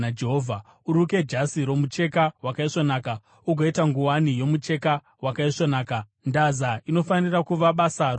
“Uruke jasi romucheka wakaisvonaka ugoita nguwani yomucheka wakaisvonaka. Ndaza inofanira kuva basa romuruki.